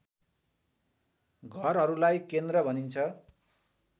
घरहरूलाई केन्द्र भनिन्छ